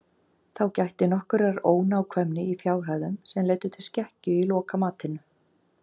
Þá gætti nokkurrar ónákvæmni í fjárhæðum sem leiddu til skekkju í lokamatinu.